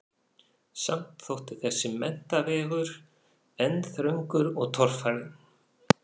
Samt þótti þessi menntavegur enn þröngur og torfarinn.